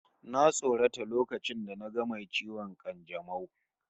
Na tsorata lokacin da naga mai ciwon kanjamau